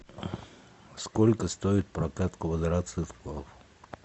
сколько стоит прокат квадроциклов